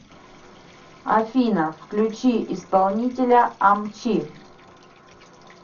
афина включи исполнителя амчи